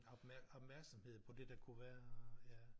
Opmærksomhed på det der kunne være ja